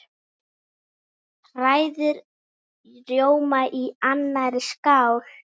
Hrærið rjóma í annarri skál.